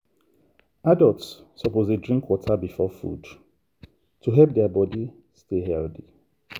adults suppose dey drink water before food to help their body stay healthy.